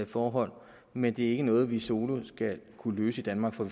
forhold men det er ikke noget vi solo skal kunne løse i danmark for